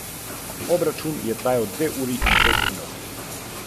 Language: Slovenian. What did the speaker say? Vsi so čakali pomlad ali zmrzal, a ni prišla ne ena ne druga.